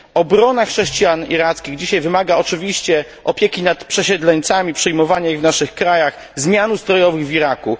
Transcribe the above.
Obrona chrześcijan irackich wymaga dzisiaj oczywiście opieki nad przesiedleńcami, przyjmowania ich w naszych krajach, zmian ustrojowych w Iraku.